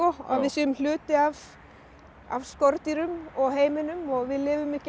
að við séum hluti af af skordýrum og heiminum og við lifum ekki án